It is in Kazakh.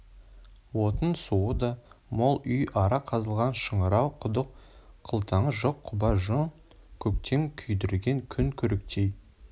отын-суы да мол үй ара қазылған шыңырау құдық қылтаңы жоқ құба жон көктен күйдірген күн көріктей